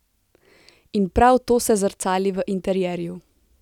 In prav to se zrcali v interierju.